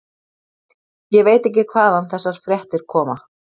Ég veit ekki hvaðan þessar fréttir koma.